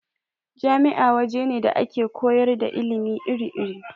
Jami'a waje ne da ake koyar da ilimi iri-iri.